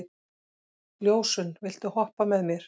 Ljósunn, viltu hoppa með mér?